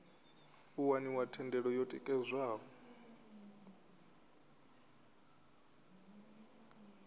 u waniwa thendelo yo tikedzwaho